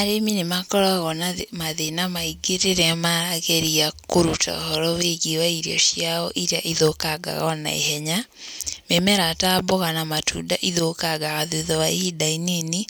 Arĩmi nĩ makoragwo na mathĩna maingĩ rĩrĩa maageria kũruta ũhoro wĩgiíĩwa irio cia iria ithũkangaga o naihenya. Mĩmera ta mboga na matunda ithũkaga thutha wa ihindĩ inini,